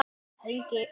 Fer ekki allt í hringi?